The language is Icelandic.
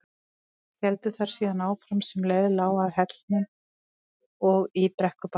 Héldu þær síðan áfram sem leið lá að Hellnum og í Brekkubæ.